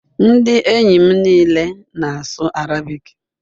Ndị enyi m niile na-asụ Arabic